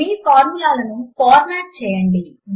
మీ ఫార్ములాలను ఫార్మాట్ చేయండి